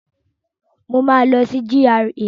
Mo máa lọ sí GRA